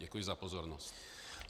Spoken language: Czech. Děkuji za pozornost.